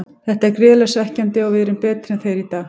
Þetta er gríðarlega svekkjandi og við erum betri en þeir í dag.